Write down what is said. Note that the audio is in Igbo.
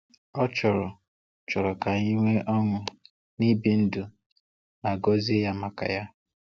Ọ chọrọ chọrọ ka anyị nwee ọṅụ n’ibi ndụ ma gọzie Ya maka ya.